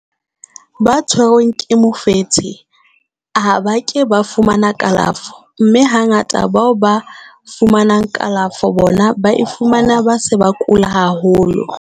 ba tshwerweng ke mofetshe ha ba ke ba fumane kalafo, mme hangata bao ba fumanang kalafo bona ba e fumana ba se ba kula haholo.